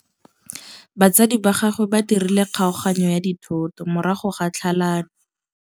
Batsadi ba gagwe ba dirile kgaoganyô ya dithoto morago ga tlhalanô.